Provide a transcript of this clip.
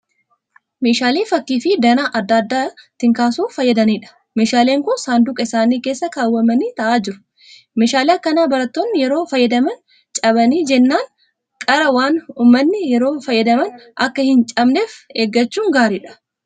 Meeshaalee fakkii fi danaa adda addaa ittiin kaasuuf fayyadaniidha. Meeshaaleen kun saanduqa isaanii keessa kaawwamanii ta'aa jiru. Meeshaalee akkanaa barattoonni yeroo fayyadaman cabanii jennaan qara waan uummataniif yeroo fayyadaman akka hin cabneef eeggachuun gaariidha.